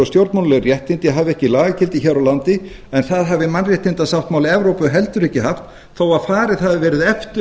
stjórnmálaleg réttindi hefir ekki lagagildi hér á landi en það hefði mannréttindasáttmáli evrópu heldur ekki haft þó farið hafi verið eftir